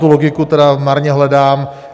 Tu logiku tedy marně hledám.